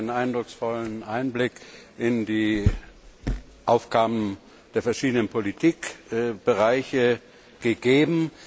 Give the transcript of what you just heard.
Sie haben einen eindrucksvollen Einblick in die Aufgaben der verschiedenen Politikbereiche gegeben.